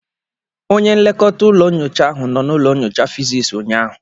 Onye nlekọta ụlọ nyocha ahụ nọ na ụlọ nyocha physics ụnyaahụ